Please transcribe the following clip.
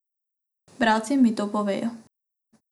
Bralci mi to povejo.